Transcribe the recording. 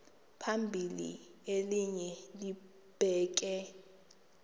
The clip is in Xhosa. phambili elinye libheke